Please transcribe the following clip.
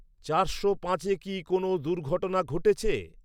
চারশো পাঁচে কি কোনও দুর্ঘটনা ঘটেছে?